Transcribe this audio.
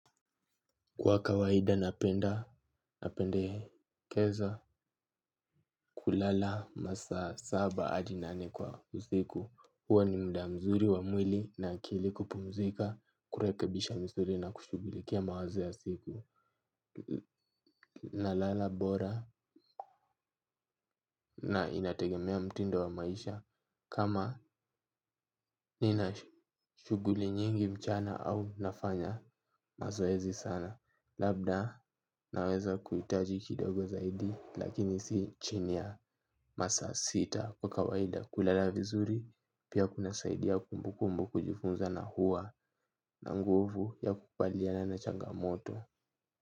Kwa kawaida napendekeza kulala masaa saba hadi nane kwa usiku huwa ni muda mzuri wa mwili na akili kupumzika kurekebisha misuri na kushughulikia mawazo ya siku. Nalala bora na inategemea mtindo wa maisha. Kama nina shughuli nyingi mchana au nafanya mazoezi sana. Labda naweza kuhitaji kidogo zaidi. Lakini si chini ya masaa sita kwa kawaida. Kulala vizuri pia kuna saidia kumbukumbu kujifunza na hua na nguvu ya kubaliana na changamoto.